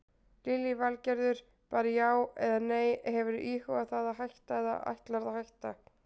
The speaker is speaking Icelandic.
Lillý Valgerður: Bara já eða nei, hefurðu íhugað það að hætta eða ætlarðu að hætta?